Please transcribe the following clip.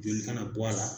Joli kana bɔ a la